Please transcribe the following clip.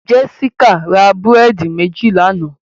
Jessica ra búrẹ́dì méjì lánàá